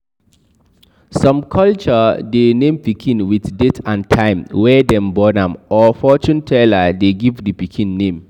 Some culture de name pikin with date and time wey dem born am or fortune teller de give the pikin name